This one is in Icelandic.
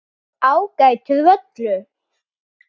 Ágætur völlur.